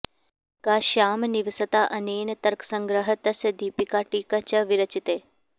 काश्याम् निवसता अनेन तर्कसंग्रहः तस्य दीपिका टीका च विरचिते